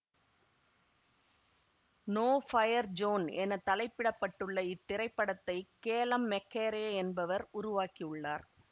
no fire zone என தலைப்பிடப்பட்டுள்ள இத்திரைப்படத்தை கேலம் மெக்கரே என்பவர் உருவாக்கியுள்ளார்